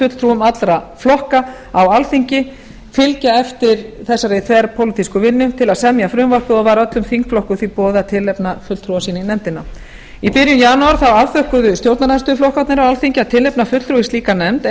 fulltrúum allra flokka á alþingi fylgja eftir þessari þverpólitísku vinnu til að semja frumvarpið og var öllum þingflokkum því boðið að tilnefna fulltrúa sína í nefndina í byrjun janúar afþökkuðu stjórnarandstöðuflokkarnir á alþingi að tilnefna fulltrúa í slíka nefnd og